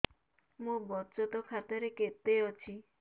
ମୋ ବଚତ ଖାତା ରେ କେତେ ଅଛି